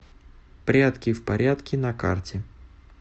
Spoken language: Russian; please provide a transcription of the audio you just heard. прядки в порядке на карте